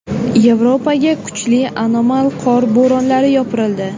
Yevropaga kuchli anomal qor bo‘ronlari yopirildi.